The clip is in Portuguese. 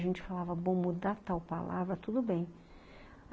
A gente falava, ''vamos mudar tal palavra, tudo bem.''